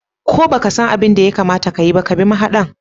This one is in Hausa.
Ko baka san abin de ya kamata ka yi ba, ka bi mahadan.